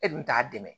E dun t'a dɛmɛ